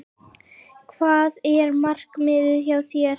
Hvað er markmiðið hjá þér?